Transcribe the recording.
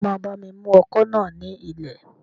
Ṣé o máa bá mi mú ọkọ̀ náà ní ilẹ̀?